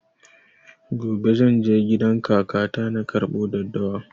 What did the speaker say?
Gobe zan je gidan kaka ta na karɓo daddawa